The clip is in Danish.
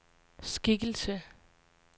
skikkelse